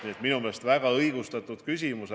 Nii et minu meelest on see väga õigustatud küsimus.